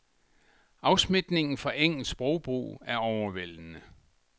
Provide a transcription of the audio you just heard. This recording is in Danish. Afsmitningen fra engelsk sprogbrug er overvældende.